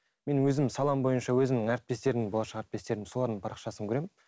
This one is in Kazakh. мен өзім салам бойынша өзімнің әріптестерім болашақ әріптестерім солардың парақшасын көремін